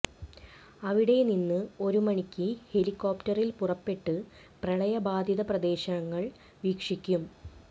അവിടെ നിന്ന് ഒരു മണിക്ക് ഹെലികോപ്റ്ററിൽ പുറപ്പെട്ട് പ്രളയബാധിത പ്രദേശങ്ങൾ വീക്ഷിക്കും